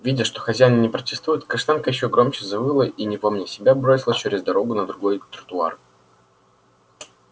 видя что хозяин не протестует каштанка ещё громче завыла и не помня себя бросилась через дорогу на другой тротуар